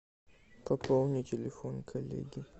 пополни телефон коллеги